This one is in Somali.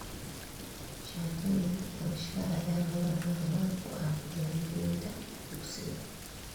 Shahaadooyinka dhalashada ayaa lagama maarmaan u ah diiwaangelinta dugsiga.